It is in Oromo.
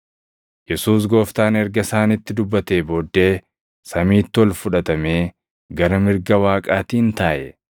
Yesuus Gooftaan erga isaanitti dubbatee booddee samiitti ol fudhatamee gara mirga Waaqaatiin taaʼe.